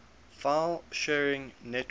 file sharing networks